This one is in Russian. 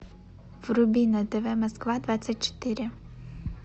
вруби на тв москва двадцать четыре